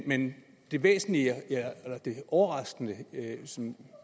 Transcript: men det væsentlige eller det overraskende som